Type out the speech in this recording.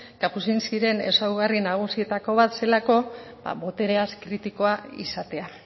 kapucinskiren ezaugarri nagusietako ba zelako botereaz kritikoa izatea